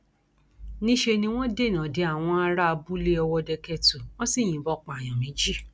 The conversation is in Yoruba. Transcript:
níṣẹ ni wọn dènà de àwọn ará abúlé ọwọdekẹtù wọn sì yìnbọn pààyàn méjì